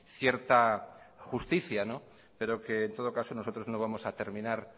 cierta justicia pero que en todo caso nosotros no vamos a terminar